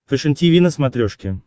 фэшен тиви на смотрешке